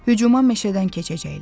Hücuma meşədən keçəcəklər.